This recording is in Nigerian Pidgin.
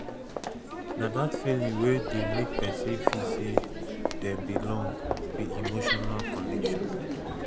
na dat feeling wey dey make pesin feel sey dem belong be emotional connection